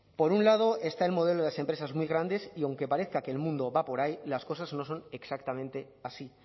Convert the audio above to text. por un lado está el modelo de las empresas muy grandes y aunque parezca que el mundo va por ahí las cosas no son exactamente así